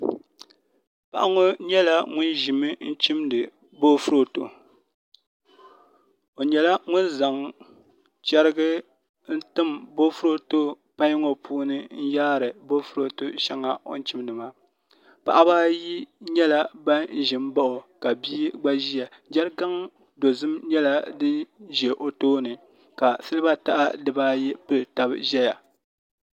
Paɣa ŋo nyɛla ŋun ʒimi chimdi boofurooto o nyɛla ŋun zaŋ chɛrigi n timdi boofurooto pai ŋo puuni n yaari boofurooto shɛŋa o ni chimdi maa Paɣaba ayi nyɛla bin ʒi n bao ka bia gba ʒiya jɛrikan dozim nyɛla din ʒɛ o tooni ka silba taha dibaayi pili tab ʒɛya